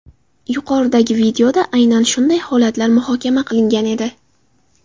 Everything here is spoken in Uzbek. Yuqoridagi videoda aynan shunday holatlar muhokama qilingan edi.